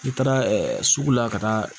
N'i taara sugu la ka taa